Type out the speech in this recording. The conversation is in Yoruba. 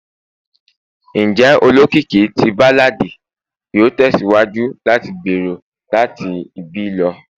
Njẹ olokiki ti balladi yoo tẹsiwaju lati gbero lati ibi lọ?